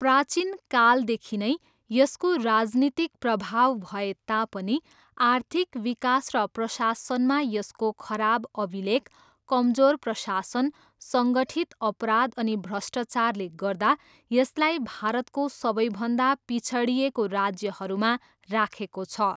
प्राचीन कालदेखि नै यसको राजनीतिक प्रभाव भए तापनि आर्थिक विकास र प्रशासनमा यसको खराब अभिलेख, कमजोर प्रशासन, सङ्गठित अपराध अनि भ्रष्टाचारले गर्दा यसलाई भारतको सबैभन्दा पिछडिएको राज्यहरूमा राखेको छ।